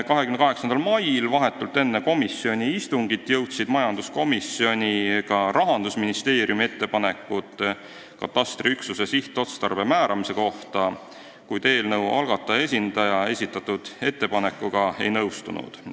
28. mail, vahetult enne komisjoni istungit, jõudsid majanduskomisjoni ka Rahandusministeeriumi ettepanekud katastriüksuse sihtotstarbe määramise kohta, kuid eelnõu algataja esindaja esitatud ettepanekuga ei nõustunud.